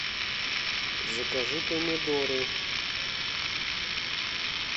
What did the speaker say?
закажи помидоры